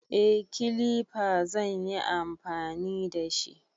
Eh, Kilifa zan yi amfani da shi.